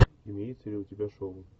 имеется ли у тебя шоу